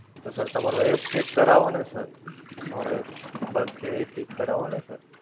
તો Sir તમારો App check કરાવો ને Sir, તમારો App bug છે એ cheque કરાવો ને!